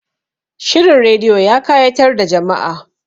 Shirin rediyo ya kayatar da jama'a